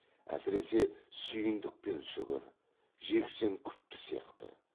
әсіресе сүйіндік пен сүгір жексен күпті сияқты